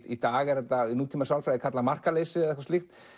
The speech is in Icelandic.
í dag er þetta í nútímasálfræði kallað markaleysi eitthvað slíkt